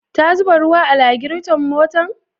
Ta zuba ruwa a lagirton motar?